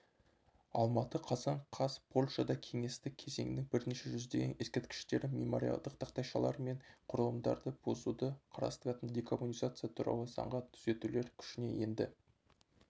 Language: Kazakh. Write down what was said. алматы қазан қаз польшада кеңестік кезеңнің бірнеше жүздеген ескерткіштерін мемориалдық тақтайшалар мен құрылымдарды бұзуды қарастыратын декоммунизация туралы заңға түзетулер күшіне енді